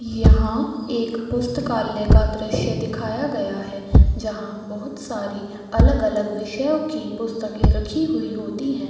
यहाँ एक पुस्तकालय का दृश्य दिखाया गया है जहाँ बहुत सारी अलग-अलग विषयो की पुस्तकें रखी हुई होती हैं ।